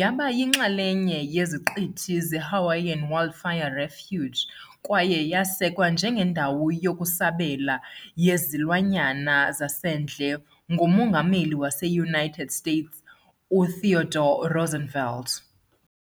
yaba yinxalenye yeZiqithi zeHawaiian Wildlife Refuge kwaye yasekwa njengendawo yokusabela yezilwanyana zasendle nguMongameli waseUnited States uTheodore Roosevelt .